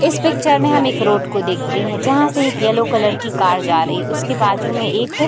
इस पिक्चर में हम एक रोड को देखते है जहाँ से एक येलो कलर की कार जा रही है। उसके बाजु में एक --